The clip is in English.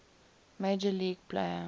major league player